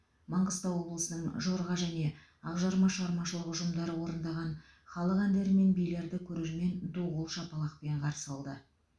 маңғыстау облысының жорға және ақжарма шығармашылық ұжымдары орындаған халық әндері мен билерді көрермен ду қол шапалақпен қарсы қалды